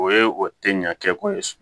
O ye o tɛ ɲa kɛ ko ye